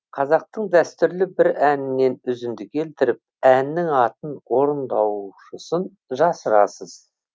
қазақтың дәстүрлі бір әнінен үзінді келтіріп әннің атын орындаушысын жасырасыз